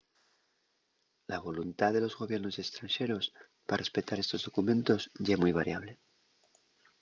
la voluntá de los gobiernos estranxeros pa respetar estos documentos ye mui variable